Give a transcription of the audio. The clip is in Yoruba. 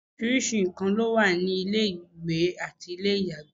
oríṣiríṣi nnkan ló wà ní inú ilé ìwẹ̀ àti ilé ìyàgbẹ́